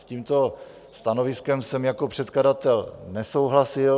S tímto stanoviskem jsem jako předkladatel nesouhlasil.